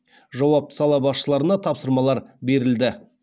жауапты сала басшыларына тапсырмалар берілді